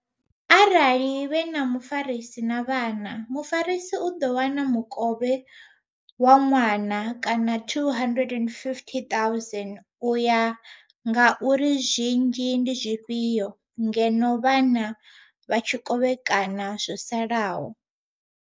Arali vhe na mufarisi na vhana, mufarisi u ḓo wana mukovhe wa ṅwana kana 250000 u ya nga uri zwinzhi ndi zwifhio ngeno vhana vha tshi kovhekana zwo salaho.